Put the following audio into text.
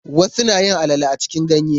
Wasu nayin alale a cikin ganye.